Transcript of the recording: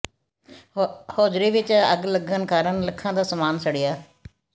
hosiery ਵਿਚ ਅੱਗ ਲੱਗਣ ਕਾਰਨ ਲੱਖਾਂ ਦਾ ਸਮਾਨ ਸੜਿਆ